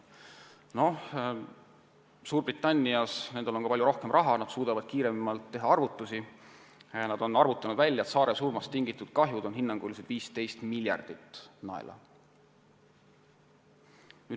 Suurbritannias – nendel on palju rohkem raha, nad suudavad kiiremini arvutusi teha – on arvutatud välja, et saaresurmast tulenev kahju on hinnanguliselt 15 miljardit naela.